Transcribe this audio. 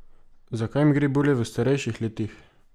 Zakaj mi gre bolje v starejših letih?